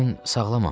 Mən sağlamam.